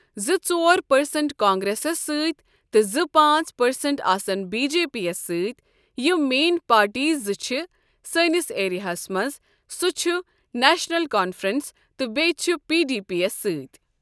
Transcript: زٕ ژور پٔرسنٛٹ کانگریسس سۭتۍ تہٕ زٕ پانٛژھ پٔرسنٛٹ آسن بی جے پی یَس سۭتۍ یِم مین پارٹیٖز زٕ چھِ سٲنِس ایریاہَس منٛز سُہ چھُ نیشنَل کانفرنس تہٕ بٚییہِ چھُ پۍ ڈی پیس ستۍ ۔